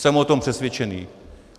Jsem o tom přesvědčený.